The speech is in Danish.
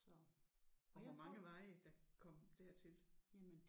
Og hvor mange var i der kom der til?